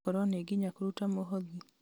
gwakorwo nĩ nginya kũruta mũhothi